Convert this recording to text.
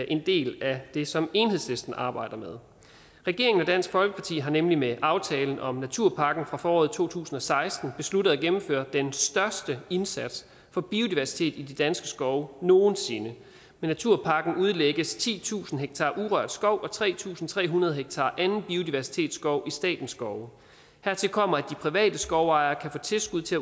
en del af det som enhedslisten arbejder med regeringen og dansk folkeparti har nemlig med aftalen om naturpakken fra foråret to tusind og seksten besluttet at gennemføre den største indsats for biodiversitet i de danske skove nogen sinde med naturpakken udlægges titusind ha urørt skov og tre tusind tre hundrede ha anden biodiversitetsskov i statens skove hertil kommer at de private skovejere kan få tilskud til